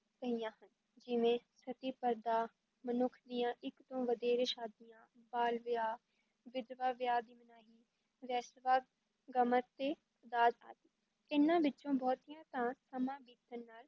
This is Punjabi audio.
ਪਈਆਂ ਹਨ, ਜਿਵੇਂ ਸਤੀ, ਪਰਦਾ, ਮਨੁੱਖ ਦੀਆਂ ਇੱਕ ਤੋਂ ਵਧੇਰੇ ਸ਼ਾਦੀਆਂ, ਬਾਲ ਵਿਆਹ, ਵਿਧਵਾ ਵਿਆਹ ਦੀ ਮਨਾਹੀ, ਵੇਸਵਾ, ਗਮਨ ਤੇ ਦਾਜ ਆਦਿ, ਇਨ੍ਹਾਂ ਵਿਚੋਂ ਬਹੁਤੀਆਂ ਤਾਂ ਸਮਾਂ ਬੀਤਣ ਨਾਲ